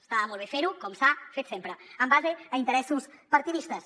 està molt bé ferho com s’ha fet sempre en base a interessos partidistes